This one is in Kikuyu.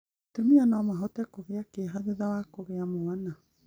Atumia no mahote kũgia kĩeha thutha wa kũgĩa mwana,